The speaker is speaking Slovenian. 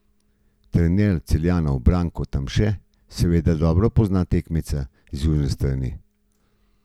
Trener Celjanov Branko Tamše seveda dobro pozna tekmeca z južne strani meje.